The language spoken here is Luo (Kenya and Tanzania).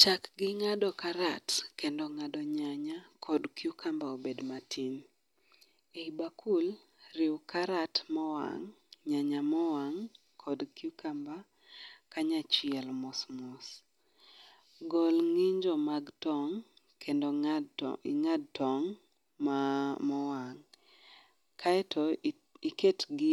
Chak gi ng'ado karat, kendo ng'ado nyanya kod cucumber obed matin. E bakul, riw karat mowang',nyanya mowang',kod cucumber kanyachiel mosmos. Gol ng'injo mag tong' kendo ing'ad tong' mowang' kaeto iketgi